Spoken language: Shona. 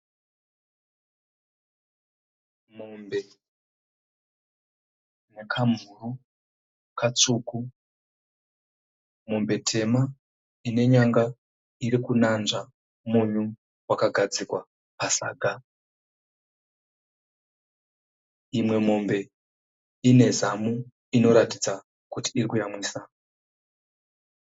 Mombe nekamhuru katsvuku mombe tema ine nyanga irikunanzva munyu vakagadzikwa pasaga imwe mombe inezamu iri kuratidza kuti iri kuyamwisa